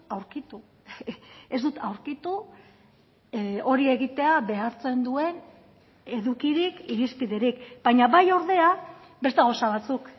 aurkitu ez dut aurkitu hori egitea behartzen duen edukirik irizpiderik baina bai ordea beste gauza batzuk